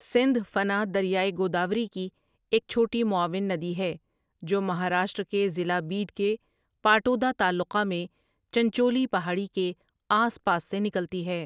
سندھ فنا دریائے گوداوری کی ایک چھوٹی معاون ندی ہے جو مہاراشٹر کے ضلع بیڈ کے پاٹودا تعلقہ میں چنچولی پہاڑی کے آس پاس سے نکلتی ہے۔